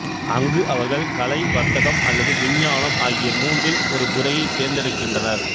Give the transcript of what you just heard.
அங்கு அவர்கள் கலை வர்த்தகம் அல்லது விஞ்ஞானம் ஆகிய மூன்றில் ஒரு துறையைத் தேர்ந்தெடுக்கின்றனர்